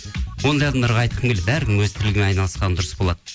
ондай адамдарға айтқым келеді әркім өз тірлігімен айналысқан дұрыс болады